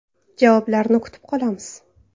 Javoblarni kutib qolamiz.